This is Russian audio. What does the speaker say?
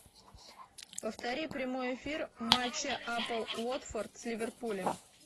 повтори прямой эфир матча апл уотфорд с ливерпулем